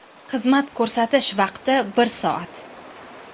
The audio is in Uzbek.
Xizmat ko‘rsatish vaqti bir soat.